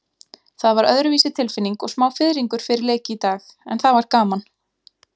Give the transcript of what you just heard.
Það var öðruvísi tilfinning og smá fiðringur fyrir leik í dag, en það var gaman.